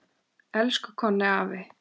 Elsku Konni afi.